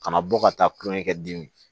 Kana bɔ ka taa kulonkɛ kɛ dimi